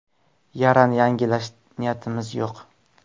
Yarani yangilash niyatimiz yo‘q.